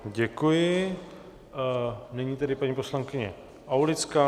Děkuji, nyní tedy paní poslankyně Aulická.